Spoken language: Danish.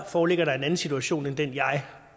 foreligger der en anden situation end den jeg